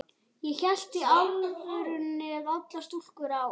Ég hélt í alvörunni að allar stúlkur á